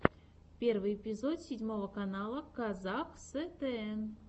первый эпизод седьмого канала казахстн